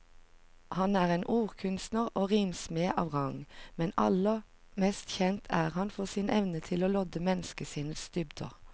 Han er en ordkunstner og rimsmed av rang, men aller mest kjent er han for sin evne til å lodde menneskesinnets dybder.